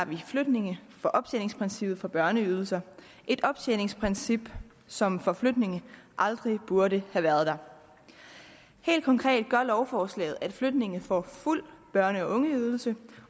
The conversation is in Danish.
vi flygtninge fra optjeningsprincippet for børneydelser et optjeningsprincip som for flygtninge aldrig burde have været der helt konkret gør lovforslaget at flygtninge får fuld børne og ungeydelse